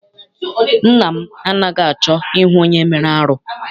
Nna m anaghị achọ I hụ onye mere arụ.